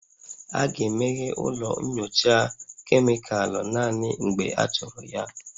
A ga-emeghe ụlọ nyocha kemịkalụ naanị mgbe achọrọ ya